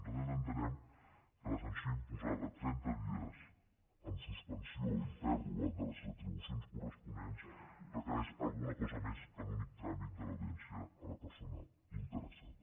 nosaltres entenem que la sanció imposada trenta dies amb suspensió i pèrdua de les retribucions corresponents requereix alguna cosa més que l’únic tràmit de l’audiència a la persona interessada